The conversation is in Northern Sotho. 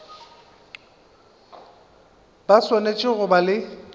ba swanetše go ba le